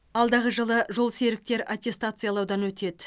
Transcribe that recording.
алдағы жылы жолсеріктер аттестациялаудан өтеді